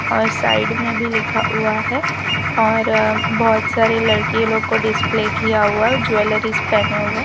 और साइड में भी लिखा हुआ है और बहुत सारी लड़की लोग को डिस्प्ले किया हुआ है और ज्वेलरीज पहने हुए --